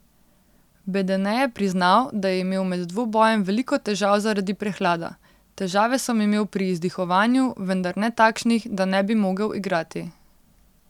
Bedene je priznal, da je imel med dvobojem veliko težav zaradi prehlada: 'Težave sem imel pri izdihovanju, vendar ne takšnih, da ne bi mogel igrati.